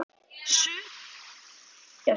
Sumir búa í þér.